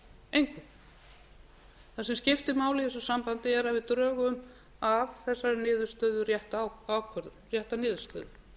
það sem skiptir máli í þessu sambandi er að við drögum af þessari niðurstöðu rétta niðurstöðu